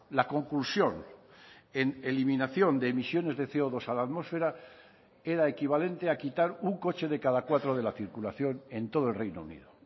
la conclusión en eliminación de emisiones de ce o dos a la atmosfera era equivalente a quitar un coche de cada cuatro de la circulación en todo el reino unido